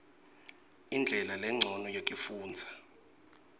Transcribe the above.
indlela lencono yekufundza